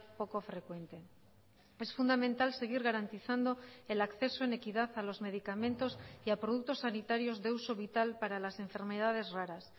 poco frecuente es fundamental seguir garantizando el acceso en equidad a los medicamentos y a productos sanitarios de uso vital para las enfermedades raras